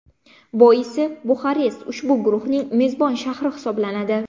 Boisi Buxarest ushbu guruhning mezbon shahri hisoblanadi.